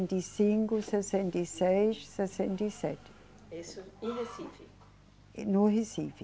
e cinco, sessenta e seis, sessenta e sete. Isso em Recife? No Recife